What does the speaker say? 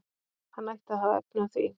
Hann ætti að hafa efni á því.